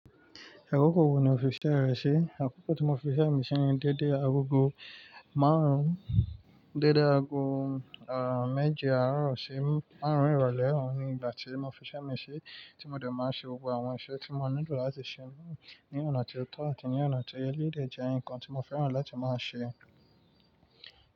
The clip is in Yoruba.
Àkókò wo ni o fi iṣẹ́e rẹ ṣe. Àkókò tí mò f'iṣẹ́ mi ṣe ni dédé agogo márùn-ún, dédé aago, ehh, méje àárọ̀ sí márùn-ún ìrọ̀lẹ́, òun ni ìgbà tí mò f'iṣẹ́ mi ṣe tí mò dẹ̀ máa ń ṣe gbogbo àwọn iṣẹ́ tí mò nílò láti ṣe ń, ní ọ̀nà tí ó tọ́ àti ní ọ̀nà tí ó yẹ. Eléyìí dẹ̀ jẹ́ nǹkan tí mò fẹ́ràn láti máa ṣe.